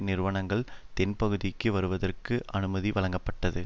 நிறுவனங்கள் தென்பகுதிக்கு வருவதற்கு அனுமதி வழங்கப்பட்டது